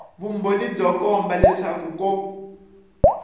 vumbhoni byo komba leswaku ko